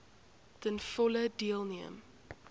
ten volle deelneem